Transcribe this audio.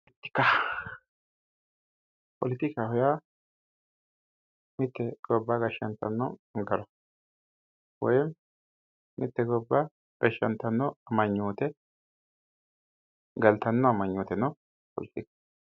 poletikaho yaa mittu manchi gobba gashshanno gara woy mitte gobba gashshantanno amanyoote galtanno amanyooteno poletika